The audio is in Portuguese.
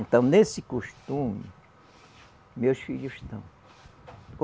Então, nesse costume, meus filhos estão.